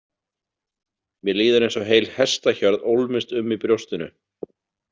Mér líður eins og heil hestahjörð ólmist um í brjóstinu.